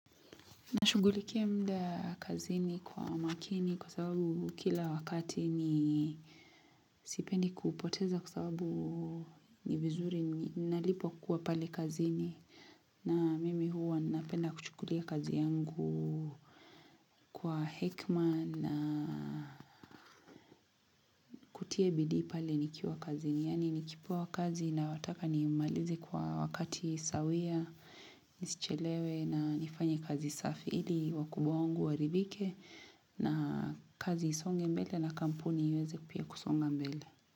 Nashugulikia muda kazini kwa makini kwa sababu kila wakati ni sipendi kuupoteza kwa sababu ni vizuri ninalipwa kuwa pale kazini na mimi huwa napenda kuchukulia kazi yangu kwa hekima na kutia bidii pale nikiwa kazini. Yani nikipewa kazi na wataka ni malize kwa wakati sawia, nisichelewe na nifanye kazi safi ili wakubwa wangu waridhike na kazi isonge mbele na kampuni iweze pia kusonga mbele.